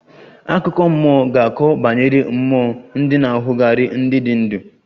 Akụkọ mmụọ ga-akọ banyere mmụọ ndị na-achugari ndị dị ndụ